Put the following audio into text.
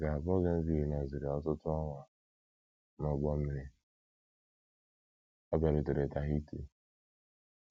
Ka Bougainville nọsịrị ọtụtụ ọnwa n’ụgbọ mmiri, ọ bịarutere Tahiti.